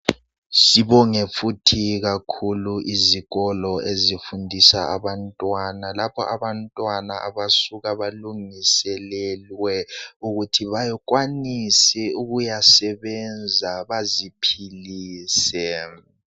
Sibonge futhi izikolo ezifundisa abantwana lapha abantwana abasuka bazilungisele ukuthi bakwanise ukuyasebenza baziphilise .